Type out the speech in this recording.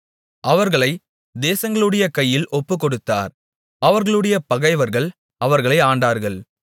அவர்களைத் தேசங்களுடைய கையில் ஒப்புக்கொடுத்தார் அவர்களுடைய பகைவர்கள் அவர்களை ஆண்டார்கள்